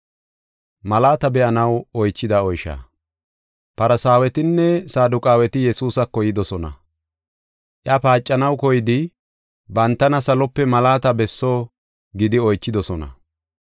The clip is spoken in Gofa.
Farsaawetinne Saduqaaweti Yesuusako yidosona. Iya paacanaw koyidi, bantana salope malaata besso gidi oychidosona.